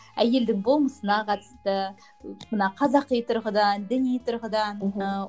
әйелдің болмысына қатысты мына қазақи тұрғыдан діни тұрғыдан мхм ы